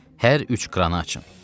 Hər üç kranı açın.